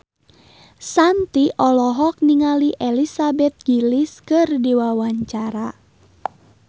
Shanti olohok ningali Elizabeth Gillies keur diwawancara